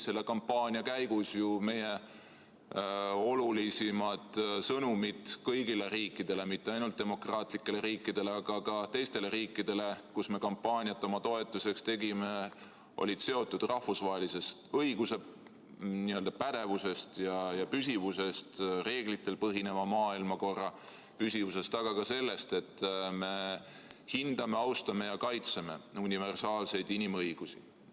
Selle kampaania käigus olid meie olulisimad sõnumid kõigile riikidele – mitte ainult demokraatlikele riikidele, vaid ka teistele riikidele, kus me kampaaniat oma toetuseks tegime – seotud rahvusvahelise õiguse n-ö pädevuse ja püsivusega, reeglitel põhineva maailmakorra püsivusega, aga ka sellega, et me hindame, austame ja kaitseme universaalseid inimõigusi.